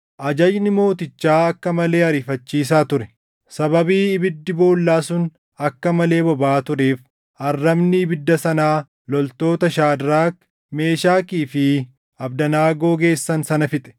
Ajajni mootichaa akka malee ariifachiisaa ture; sababii ibiddi boollaa sun akka malee bobaʼaa tureef arrabni ibidda sanaa loltoota Shaadraak, Meeshakii fi Abdanaagoo geessan sana fixe;